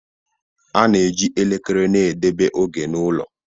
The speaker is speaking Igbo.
A na-eji elekere na-edebe oge n'ụlọ.